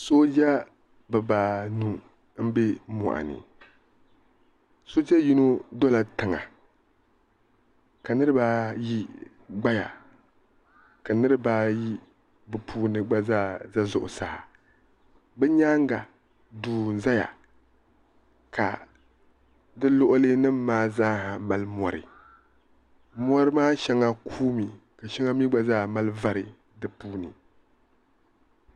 sooja bɛbaanu m-be mɔɣini sooja yino dola tiŋa ka sooja yino gbaya ka niriba ayi bɛ puuni gba zaa be zuɣusaa bɛ nyaaga duu zaya ka di luɣili nima maa zaa ha mali mɔri mɔri maa shɛŋa kuui mi ka shɛŋa mi gba zaa mali vari di puuni.